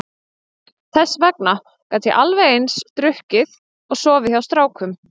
Þess vegna gat ég alveg eins drukkið og sofið hjá strákum.